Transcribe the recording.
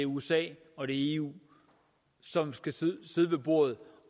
usa og eu som skal sidde ved bordet